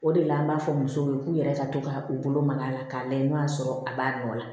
O de la an b'a fɔ musow ye k'u yɛrɛ ka to ka u bolo mag'a la k'a lajɛ n'o y'a sɔrɔ a b'a nɔ la